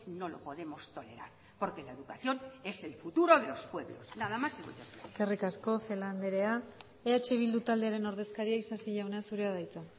no lo podemos tolerar porque la educación es el futuro de los pueblos nada más y muchas gracias eskerrik asko celaá andrea eh bildu taldearen ordezkaria isasi jauna zurea da hitza